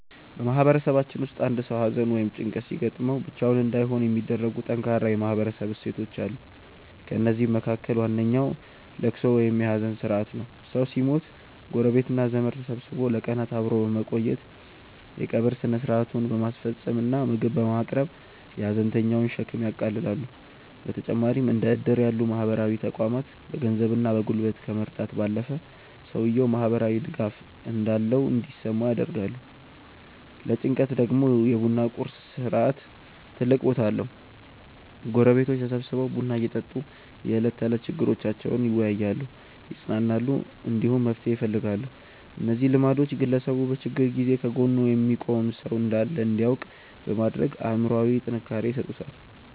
በማህበረሰባችን ውስጥ አንድ ሰው ሐዘን ወይም ጭንቀት ሲገጥመው ብቻውን እንዳይሆን የሚያደርጉ ጠንካራ የማህበረሰብ እሴቶች አሉ። ከእነዚህም መካከል ዋነኛው ልቅሶ ወይም የሐዘን ሥርዓት ነው። ሰው ሲሞት ጎረቤትና ዘመድ ተሰብስቦ ለቀናት አብሮ በመቆየት፣ የቀብር ሥነ ሥርዓቱን በማስፈጸም እና ምግብ በማቅረብ የሐዘንተኛውን ሸክም ያቃልላሉ። በተጨማሪም እንደ ዕድር ያሉ ማህበራዊ ተቋማት በገንዘብና በጉልበት ከመርዳት ባለፈ፣ ሰውየው ማህበራዊ ድጋፍ እንዳለው እንዲሰማው ያደርጋሉ። ለጭንቀት ደግሞ የ ቡና ቁርስ ሥርዓት ትልቅ ቦታ አለው፤ ጎረቤቶች ተሰብስበው ቡና እየጠጡ የዕለት ተዕለት ችግሮቻቸውን ይወያያሉ፣ ይጽናናሉ፣ እንዲሁም መፍትሄ ይፈልጋሉ። እነዚህ ልማዶች ግለሰቡ በችግር ጊዜ ከጎኑ የሚቆም ሰው እንዳለ እንዲያውቅ በማድረግ አእምሮአዊ ጥንካሬ ይሰጡታል።